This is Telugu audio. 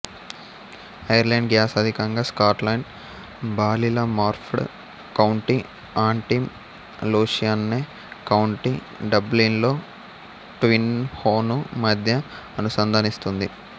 ఐర్లాండ్ గ్యాస్ అధికంగా Scotland Ballylumford county Antrim Loughshinny county డబ్లిన్లో ట్విన్హోను మధ్య అనుసంధానిస్తుంది